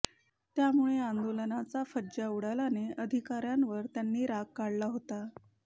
त्यामुळे आंदोलनाचा फज्जा उडाल्याने अधिकाऱयांवर त्यांनी राग काढला होता